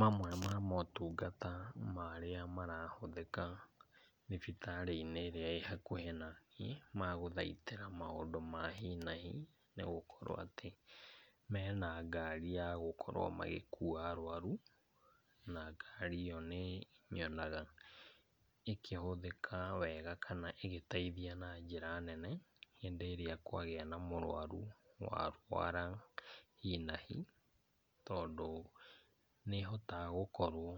Mamwe ma motungata marĩa marahũthĩka thibitarĩinĩ ĩrĩa ĩhakuhĩ naniĩ magũthaitĩra maũndũ ma hi na hi, nĩgũkorwo atĩ mena ngari ya gukorwo magĩkuwa arwaru na ngari ĩyo nĩnyonaga ĩkĩhuthĩka wega kana ĩgĩteithia na njĩra nene hĩndĩ ĩrĩa kwagĩa na mũrwaru arwara hi na hi, tondũ nĩhotaga gũkorwo